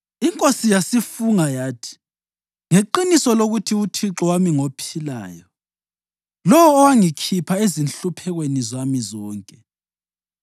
Inkosi yasifunga yathi: “Ngeqiniso lokuthi uThixo wami ngophilayo, lowo owangikhipha ezinhluphekweni zami zonke,